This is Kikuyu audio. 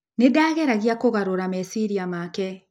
Nĩ ndageragia kũgarũra meciria make.